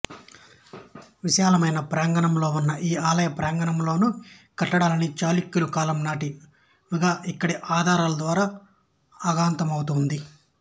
విశాలమైన ప్రాంగణంలో ఉన్న ఈ ఆలయ ప్రాంగణంలోనో కట్టడాలన్నీ చాళుక్యుల కాలం నాటివిగా ఇక్కడి ఆధారాల ద్వారా అవగతమవుతోంది